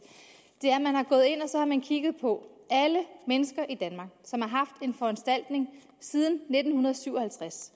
er at man kigget på alle mennesker i danmark siden nitten syv og halvtreds